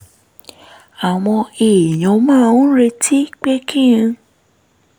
àwọn èèyàn máa ń retí pé kí n